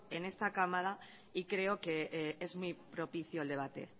en esta cámara y creo que es muy propicio el debate